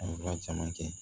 A ye baara caman kɛ